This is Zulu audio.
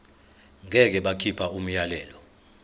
ngeke bakhipha umyalelo